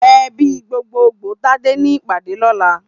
Èbí gbógbógbó Tade ni ipàdé lòlá